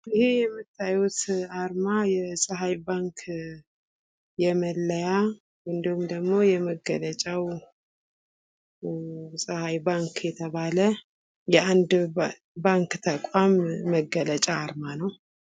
ይህ የምታዩት አርማ ጸሃይ ባንክ የመለያ እንዲሁም ደግሞ የመገለጫው ጸሃይ ባንክ የተባለ ባንክ ተቋም መገለጫ አርማ ነው።